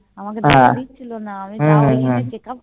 আমাকে যেতে দিচ্ছিলনা আমি তাও দেখিযে Checkup